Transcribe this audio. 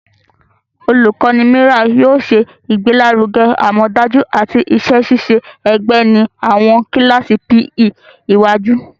Olukọni Miller yóò ṣe igbelaruge amọdaju ati iṣẹ-ṣiṣe ẹgbẹ ni awọn kilasi PE iwaju.